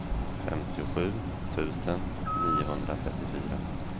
femtiosju tusen niohundratrettiofyra